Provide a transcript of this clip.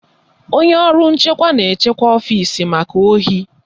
Onye ọrụ nchekwa na-echekwa ọfisi maka ohi